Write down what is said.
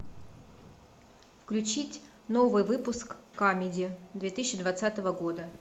включить новый выпуск камеди две тысячи двадцатого года